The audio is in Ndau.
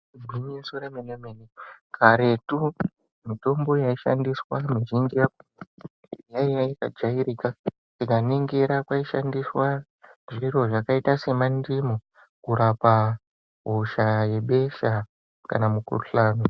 Igwinyiso remene karetu mitombo yaishandiswa mizhinji yaiya yakajairika. Tikaningira kwaishandiswa zviro zvakaita semandimu kurapa hosha yebesha kana mukhuhlani.